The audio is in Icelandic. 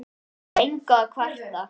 Yfir engu að kvarta.